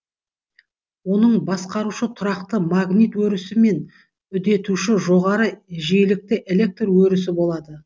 оның басқарушы тұрақты магнит өрісі мен үдетуші жоғары жиілікті электр өрісі болады